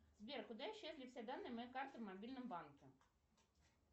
сбер куда исчезли все данные моей карты в мобильном банке